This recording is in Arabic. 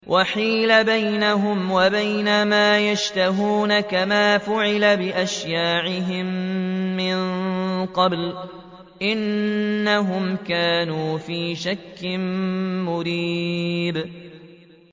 وَحِيلَ بَيْنَهُمْ وَبَيْنَ مَا يَشْتَهُونَ كَمَا فُعِلَ بِأَشْيَاعِهِم مِّن قَبْلُ ۚ إِنَّهُمْ كَانُوا فِي شَكٍّ مُّرِيبٍ